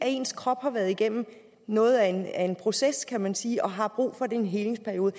ens krop har været igennem noget af en proces kan man sige og har brug for en helingsperiode